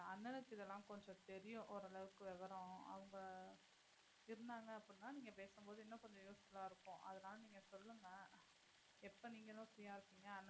அண்ணனுக்கு இது எல்லாம் கொஞ்சம் தெரியும் ஓரளவுக்கு விவரம். அவங்க இருந்தாங்க அப்படினா நீங்க பேசும் போது இன்னும் கொஞ்சம் useful ஆஹ் இருக்கும்.